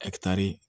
ɛkitari